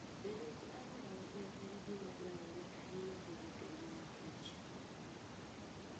Bedo gi alwora maber en gima dwarore ahinya e rito ngima kich.